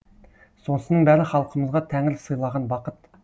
осының бәрі халқымызға тәңір сыйлаған бақыт